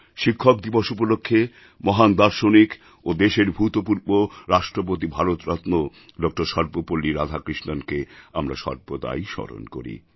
শিক্ষক দিবস উপলক্ষ্যে মহান দার্শনিক ও দেশের ভূতপূর্ব রাষ্ট্রপতি ভারতরত্ন ডক্টর সর্বপল্লী রাধাকৃষ্ণণকে আমরা সর্বদাই স্মরণ করি